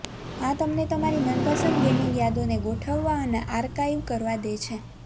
આ તમને તમારી મનપસંદ ગેમિંગ યાદોને ગોઠવવા અને આર્કાઇવ કરવા દે છે